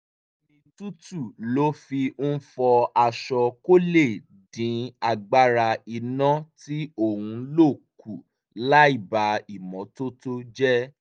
omi tútù ló fi ń fọ aṣọ kó lè dín agbára iná tí ó ń lò kù láìba ìmọ́tótó jẹ́